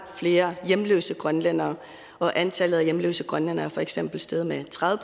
flere hjemløse grønlændere antallet af hjemløse grønlændere er for eksempel steget med tredive